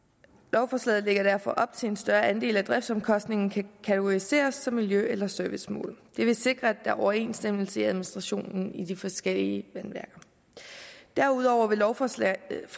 lovforslaget lægger derfor op til at en større andel af driftsomkostningerne kan kategoriseres som miljø eller servicemål det vil sikre at der er overensstemmelse i administrationen i de forskellige vandværker derudover vil lovforslaget